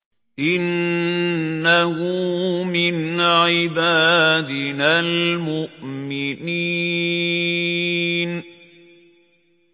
إِنَّهُ مِنْ عِبَادِنَا الْمُؤْمِنِينَ